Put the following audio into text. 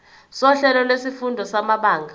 sohlelo lwezifundo samabanga